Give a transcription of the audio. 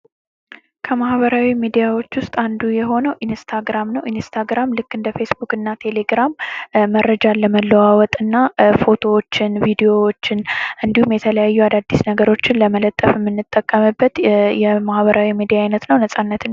ከማኅበራዊ ሚዲያዎች ውስጥ አንዱ የሆነው ኢንስታግራም ነው። ኢንስታግራም ልክ እንደ ፌስቡክ እና ቴሌ ግራም መረጃ ለመለዋወጥ እና ፎቶዎችን ፣ ቪዲዮዎችን እንዲሁም የተለያዩ አዳዲስ ነገሮችን ለመለጠፍ እንጠቀምበት የ ማህበራዊ ሚዲያ አይነት ነው። ነፃነትም.